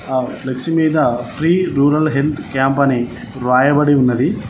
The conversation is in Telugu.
ఆ ఫ్లెక్సీ మీద ఫ్రీ రూరల్ హెల్త్ క్యాంప్ అని రాయబడి ఉన్నది.